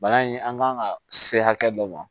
Bana in an kan ka se hakɛ dɔ ma